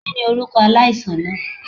Kini orukọ alaisan naa?